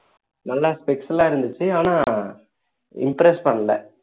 நல்லா spec லாம் இருந்துச்சு ஆனா impress பண்ணல